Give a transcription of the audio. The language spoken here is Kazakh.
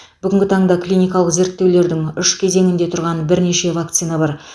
бүгінгі таңда клиникалық зерттеулердің үш кезеңінде тұрған бірнеше вакцина бар